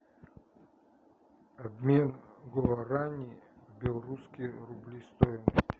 обмен гуарани в белорусские рубли стоимость